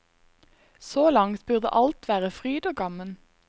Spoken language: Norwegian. Så langt burde alt være fryd og gammen.